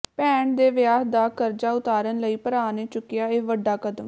ਭੈਣ ਦੇ ਵਿਆਹ ਦਾ ਕਰਜ਼ਾ ਉਤਾਰਨ ਲਈ ਭਰਾ ਨੇ ਚੱਕਿਆ ਇਹ ਵੱਡਾ ਕਦਮ